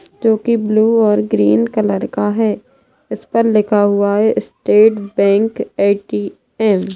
जो की ब्लू और ग्रीन कलर का है इस पर लिखा हुआ है स्टेट बैंक ए_टी_एम ।